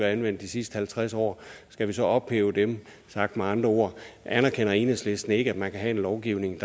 anvendt de sidste halvtreds år skal vi så ophæve dem sagt med andre ord anerkender enhedslisten ikke at man kan have en lovgivning